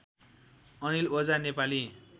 Anil Ojha Nepali